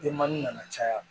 Denmanin nana caya